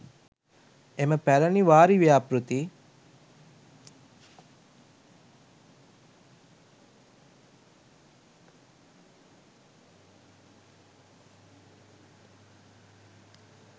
එම පැරණි වාරි ව්‍යාපෘති